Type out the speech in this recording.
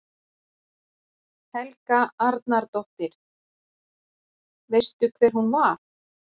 Helga Arnardóttir: Veistu hver hún var?